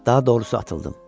Daha doğrusu atıldım.